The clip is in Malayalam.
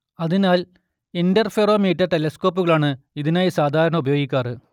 അതിനാൽ ഇന്റർഫെറൊമീറ്റർ ടെലസ്കോപ്പുകളാണ് ഇതിനായി സാധാരണ ഉപയോഗിക്കാറ്